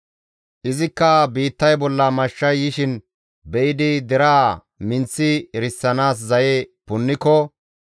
izikka biittay bolla mashshay yishin be7idi deraa minththi erisanaas zaye punniko,